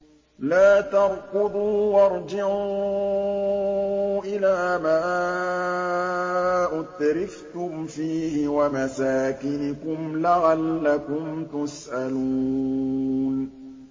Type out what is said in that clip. لَا تَرْكُضُوا وَارْجِعُوا إِلَىٰ مَا أُتْرِفْتُمْ فِيهِ وَمَسَاكِنِكُمْ لَعَلَّكُمْ تُسْأَلُونَ